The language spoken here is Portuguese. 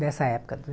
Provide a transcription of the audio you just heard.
Dessa época.